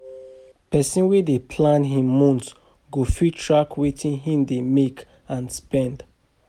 Pesin wey dey plan im month go fit track wetin im dey make and spend